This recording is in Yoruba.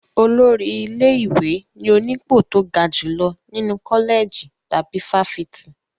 Olórí ilé-ìwé ni onípò tó ga jùlọ nínú kọ́lẹ̀jì tàbí fáfitì.